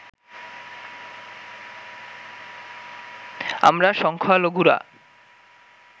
আমরা সংখ্যালঘুরা